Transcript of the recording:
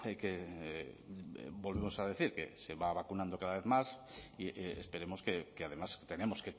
que volvemos a decir que se va a vacunando cada vez más y esperemos que además tenemos